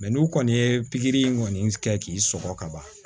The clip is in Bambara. n'u kɔni ye pikiri in kɔni kɛ k'i sɔgɔ ka ban